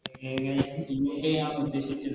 എങ്ങനെ UK ആണോ ഉദ്ദേശിച്ചത്